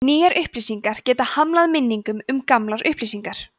nýjar upplýsingar geta hamlað minningum um gamlar upplýsingar